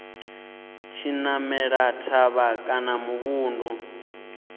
tshi namela thavha kana muvhundu